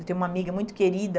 Eu tenho uma amiga muito querida,